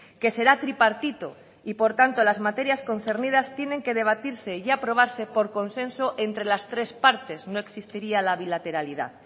que será tripartito y por tanto las materias concernidas tienen que debatirse y aprobarse por consenso entre las tres partes no existiría la bilateralidad